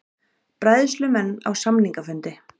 Bræðslumenn á samningafundi